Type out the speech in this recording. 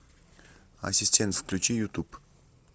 ассистент включи ютуб